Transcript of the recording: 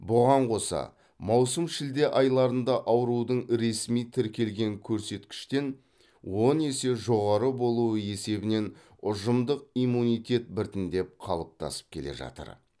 бұған қоса маусым шілде айларында аурудың ресми тіркелген көрсеткіштен он есе жоғары болуы есебінен ұжымдық иммунитет біртіндеп қалыптасып келе жатыр